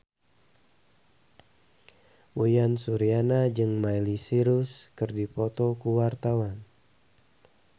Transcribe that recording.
Uyan Suryana jeung Miley Cyrus keur dipoto ku wartawan